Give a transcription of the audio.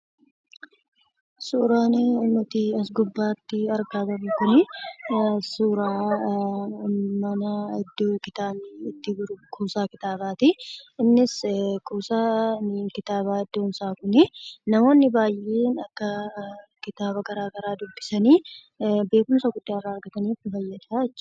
Suuraan nuti as, gubbatti argaa jirru kun, suuraa mana iddoo kitaabni itti gurguramudha. innis kuusaan kitaaba kun, namoonni baay'een akka kitaaba garaagaraa dubbisani beekumsa guddaa irra argatan mul'isa.